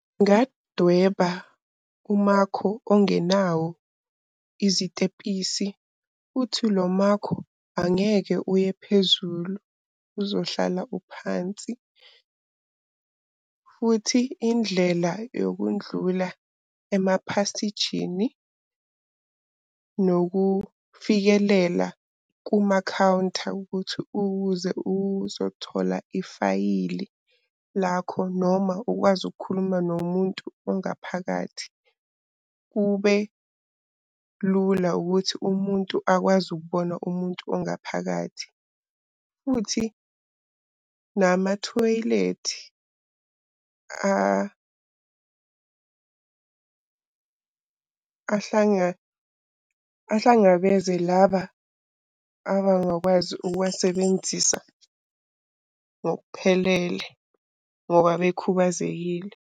Ngingadweba umakho ongenawo izitebhisi, futhi lo makho angeke uye phezulu, uzohlala uphansi. Futhi indlela yokundlula emaphasijini nokufikelela kumakhawunta ukuthi ukuze uzothola ifayili lakho noma ukwazi ukukhuluma nomuntu ongaphakathi. Kube lula ukuthi umuntu akwazi ukubona umuntu ongaphakathi. Futhi namathoyilethi ahlangabeze laba abangakwazi ukuwasebenzisa ngokuphelele ngoba bekhubazekile.